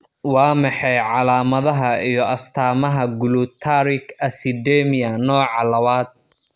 Waa maxay calaamadaha iyo astaamaha Glutaric acidemia nooca lawad?